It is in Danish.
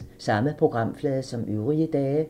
Samme programflade som øvrige dage